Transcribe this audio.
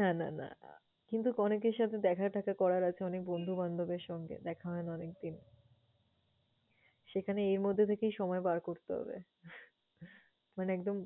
না না না কিন্তু অনেকের সাথে দেখা-টেখা করার আছে, অনেকের বন্ধুবান্ধবের সঙ্গে দেখা হয়না অনেকদিন। সেখানে এর মধ্য থেকেই সময় বার করতে হবে। মানে একদম